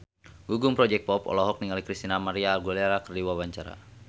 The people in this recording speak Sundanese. Gugum Project Pop olohok ningali Christina María Aguilera keur diwawancara